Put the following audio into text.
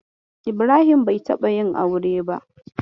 Ibrahim bai taɓa yin aure ba.